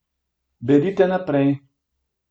Berite naprej.